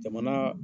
Jamana